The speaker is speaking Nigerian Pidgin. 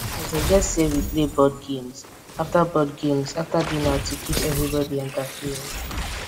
i suggest sey we play board games after board games after dinner to keep everybodi entertained